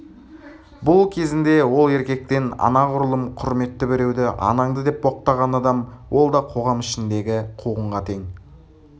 бұл кезінде ол еркектен анағұрлым құрметті біреуді анаңды деп боқтаған адам ол да қоғам ішіндегі қуғынға тең